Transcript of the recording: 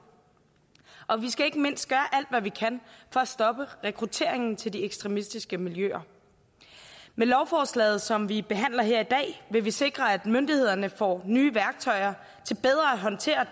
og vi skal ikke mindst gøre alt hvad vi kan for at stoppe rekrutteringen til de ekstremistiske miljøer med lovforslaget som vi behandler her i dag vil vi sikre at myndighederne får nye værktøjer til bedre at håndtere